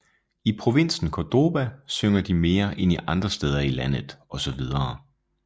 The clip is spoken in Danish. I provinsen Córdoba synger de mere end i andre steder i landet osv